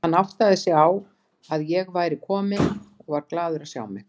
Hann áttaði sig á að ég væri komin og var glaður að sjá mig.